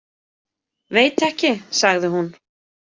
Veit ekki, sagði hún.